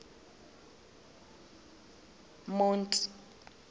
monti